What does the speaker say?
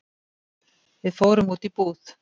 Við fórum út í búð.